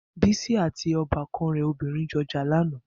Bisi àtí òbàkàn rè óbìrín jò jà lànã